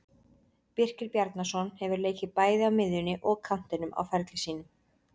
Birkir Bjarnason hefur leikið bæði á miðjunni og kantinum á ferli sínum.